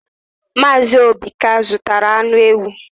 Mazị Obi ka zụtara anụ ewu.